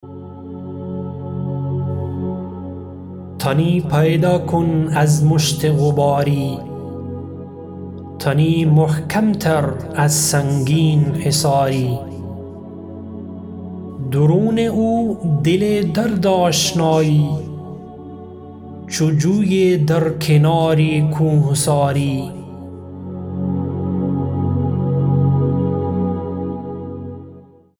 تنی پیدا کن از مشت غباری تنی محکم تر از سنگین حصاری درون او دل درد آشنایی چو جویی در کنار کوهساری